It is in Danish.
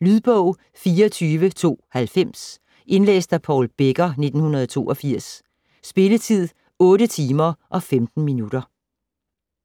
Lydbog 24290 Indlæst af Paul Becker, 1982. Spilletid: 8 timer, 15 minutter.